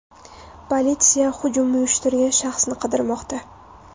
Politsiya hujum uyushtirgan shaxsni qidirmoqda.